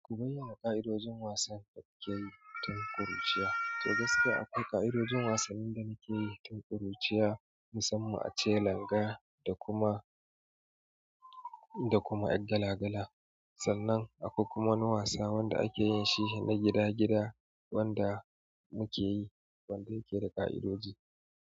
Ku bayyana ƙa'idojin wasan da kukeyi tun ƙuruciya. To gaskiya akwai ƙa'idojin wasannin da muke yi tun ƙuruciya musamman ace langa da kuma, da kuma 'yar gala gala. Sannan akwai kuma wani wasa wanda akeyin shi na gida gida wanda muke yi wanda yake da ƙa'idoji.